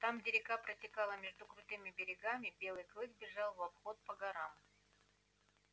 там где река протекала между крутыми берегами белый клык бежал в обход по горам